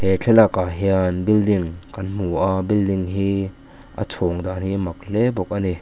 he thlalak ah hian building kan hmu a building hi a chhawn tan hi a mak hle bawk a ni.